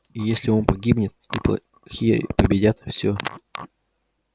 и если он погибнет и плохие победят всё